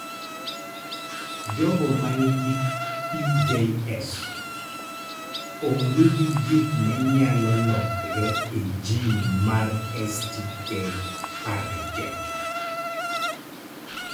Jomoko ma nigi PJS onge gi gik ma nyalo lokore e jin mar STK11.